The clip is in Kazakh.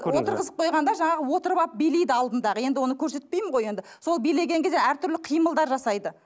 отырғызып қойғанда жаңағы отырып алып билейді алдындағы енді оны көрсетпеймін ғой енді сол билеген кезде әртүрлі қимылдар жасайды